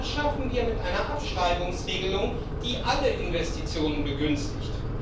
und das schaffen wir mit einer Abschreibungsregelung, die alle Investitionen begünstigt.